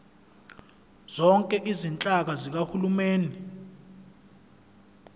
zonke izinhlaka zikahulumeni